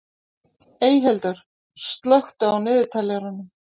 Eyhildur, slökktu á niðurteljaranum.